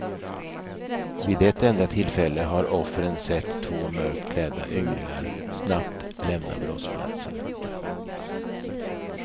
Vid ett enda tillfälle har offren sett två mörkt klädda ynglingar snabbt lämna brottsplatsen.